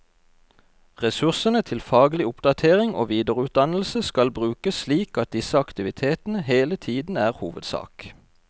Ressursene til faglig oppdatering og videreutdannelse skal brukes slik at disse aktivitetene hele tiden er hovedsak.